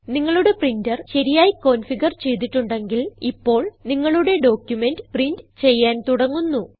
നിങ്ങളുടെ പ്രിന്റർ ശരിയായി കോൻഫിഗർ ചെയ്തിട്ടുണ്ടെങ്കിൽ ഇപ്പോൾ നിങ്ങളുടെ ഡോക്യുമെന്റ് പ്രിന്റ് ചെയ്യാൻ തുടങ്ങുന്നു